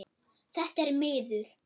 Þetta er miður.